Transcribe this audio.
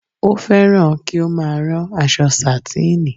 Ó fẹ́ràn kí ó má a rán aṣọ sàtíìnì